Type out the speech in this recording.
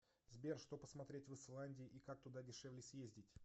сбер что посмотреть в исландии и как туда дешевле съездить